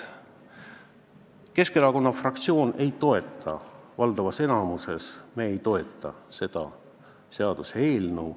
Keskerakonna fraktsioon ei toeta, valdavas osas me ei toeta seda seaduseelnõu.